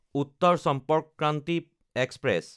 Uttar Sampark Kranti express